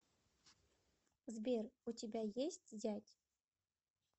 сбер у тебя есть зять